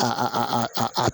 A